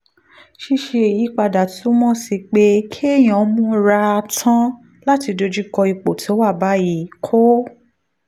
ṣíṣe ìyípadà túmọ̀ sí pé kéèyàn múra tán láti dojú kọ ipò tó wà báyìí kó